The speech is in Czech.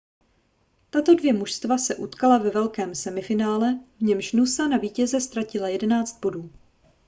tato dvě mužstva se utkala ve velkém semifinále v němž noosa na vítěze ztratila 11 bodů